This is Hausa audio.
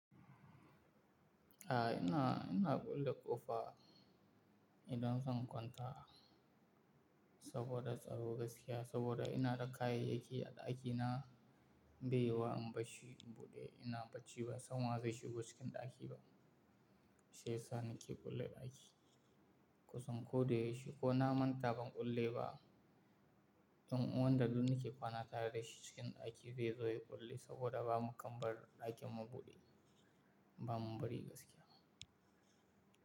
A ina, ina kule ƙofa idan zan kwanta saboda tsaro gaskiya saboda ina da kayayyaki a ɗaki na, beyawa in bashi buɗe ina bacci ba, sanuwa zai shigo cikin ɗaki ba. Sai sa ni ke kule ɗaki. Kusan koda yaushi ko na manta ban kule ba, wanda duk nake kwana tare da shi cikin ɗaki zai zo ya kule saboda ba mu kam bar ɗakin mu buɗe, ba mu bari gaskiya.